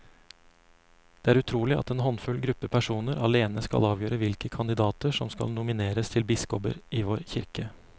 Det er utrolig at en håndfull gruppe personer alene skal avgjøre hvilke kandidater som skal nomineres til biskoper i vår kirke.